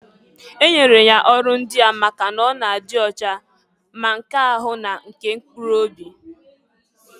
E nyere ya ọrụ ndịa maka n'ọ na-adị ocha, ma nke ahu na nke mkpuru obi.